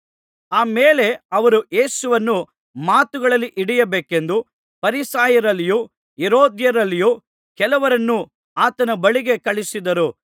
ಆ ಮೇಲೆ ಅವರು ಯೇಸುವನ್ನು ಮಾತುಗಳಲ್ಲಿ ಹಿಡಿಯಬೇಕೆಂದು ಫರಿಸಾಯರಲ್ಲಿಯೂ ಹೆರೋದ್ಯರಲ್ಲಿಯೂ ಕೆಲವರನ್ನು ಆತನ ಬಳಿಗೆ ಕಳುಹಿಸಿದರು